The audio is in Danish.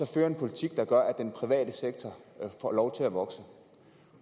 føre en politik der gør at den private sektor får lov til at vokse